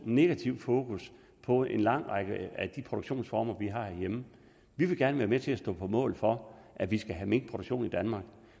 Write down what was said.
negativ fokus på en lang række af de produktionsformer vi har herhjemme vi vil gerne være med til at stå på mål for at vi skal have minkproduktion i danmark